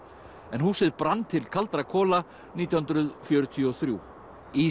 en húsið brann til kaldra kola nítján hundruð fjörutíu og þrjú í